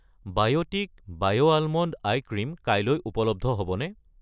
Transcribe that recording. বায়'টিক বায়' almond ice cream কাইলৈ উপলব্ধ হ'বনে?